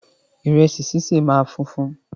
Ìrẹsì ṣíṣe máa funfun